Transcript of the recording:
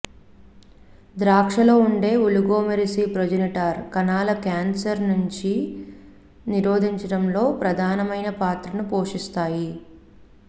ద్రాక్షలో ఉండే oligomeric progenitor కణాలు cancer ని నిరోధించడంలో ప్రధానమైన పాత్రను పోషిస్తాయి